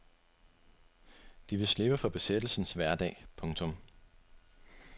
De vil slippe for besættelsens hverdag. punktum